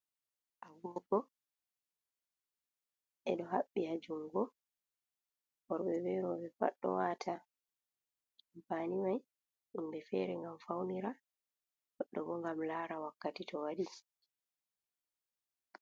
Agogo beɗo habbi ha jungo. worbe be robe pat ɗoo wata. Ampani mai himbe fere ngam faunira gaɗɗo bo ngam lara wakkati to waɗi.